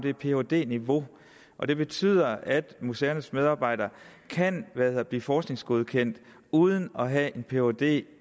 et phd niveau og det betyder at museernes medarbejdere kan blive forskningsgodkendte uden at have en phd